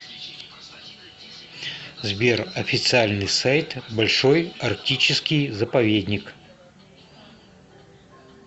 сбер официальный сайт большой арктический заповедник